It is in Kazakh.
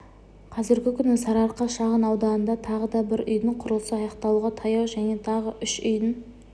қазіргі күні сарыарқа шағын ауданында тағы да бір үйдің құрылысы аяқталуға таяу және тағы үш үйдің